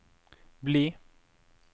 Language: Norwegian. bli